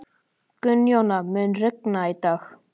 Gunnjóna, mun rigna í dag?